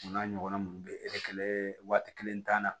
O n'a ɲɔgɔnna minnu bɛ waati kelen t'a la